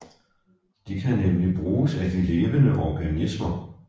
Det kan nemlig bruges af de levende organismer